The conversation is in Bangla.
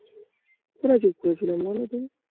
কোথায় চুপ করেছিলাম বলো তুমি?